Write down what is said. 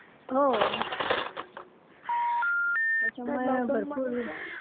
हो. त्याच्यामुळे भरपूर,